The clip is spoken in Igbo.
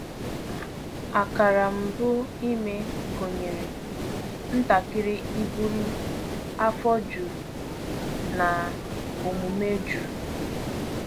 Akara mbụ ime gụnyere ntakịrị ibuli, afọ juru, na omume jụụ.